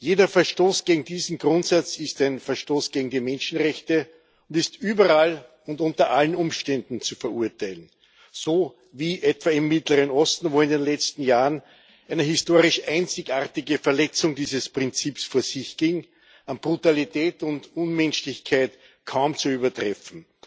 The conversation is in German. Jeder Verstoß gegen diesen Grundsatz ist ein Verstoß gegen die Menschenrechte und ist überall und unter allen Umständen zu verurteilen so wie etwa im Mittleren Osten, wo in den letzten Jahren eine historisch einzigartige Verletzung dieses Prinzips vor sich ging an Brutalität und Unmenschlichkeit kaum zu übertreffen.